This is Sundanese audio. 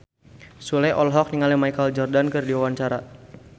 Sule olohok ningali Michael Jordan keur diwawancara